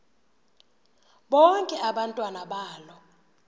bonke abantwana balo